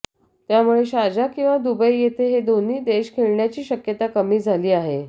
त्यामुळे शारजा किंवा दुबई येथे हे दोन्ही देश खेळण्याची शक्यता कमी झाली आहे